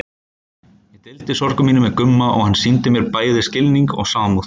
Ég deildi sorgum mínum með Gumma og hann sýndi mér bæði skilning og samúð.